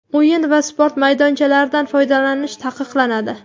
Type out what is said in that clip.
O‘yin va sport maydonchalaridan foydalanish taqiqlanadi.